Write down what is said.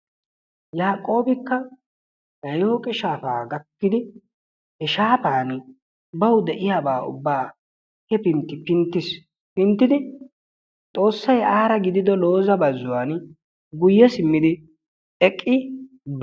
Yaaqoobikka yayiyiriyooqe shaafa gakkidi he shaafan bawu de'iyaaba ubba hefintti pinttiis. pinttidi Xoossay aara gidido Looza baxxuwan guyye simmi eqqi ...